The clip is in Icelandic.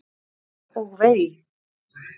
Á og vei!